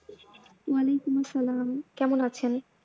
ওয়ালিকুম আসসালাম, কেমন আছেন?